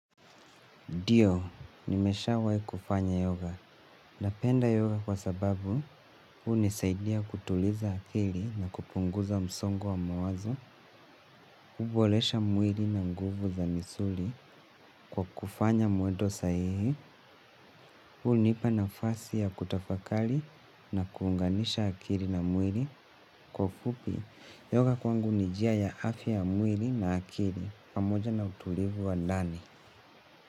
Ndio, nimeshawai kufanya yoga. Napenda yoga kwa sababu, hunisaidia kutuliza akili na kupunguza msongo wa mawazo, hubolesha mwili na nguvu za misuli, kwa kufanya mwedo sahihi, hunipa nafasi ya kutafakali na kuunganisha akili na mwili. Kwa ufupi, yoga kwangu ni jia ya afya ya mwili na akili, pamoja na utulivu wa ndani.